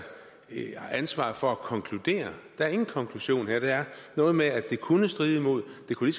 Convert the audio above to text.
ansvaret for at konkludere der er ingen konklusion her der er noget med at det kunne stride imod det kunne